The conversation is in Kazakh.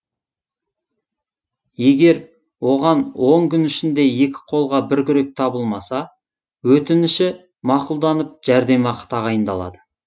егер оған он күн ішінде екі қолға бір күрек табылмаса өтініші мақұлданып жәрдемақы тағайындалады